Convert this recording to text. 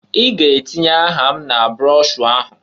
I ga-atinye aha m na broshuu ahụ!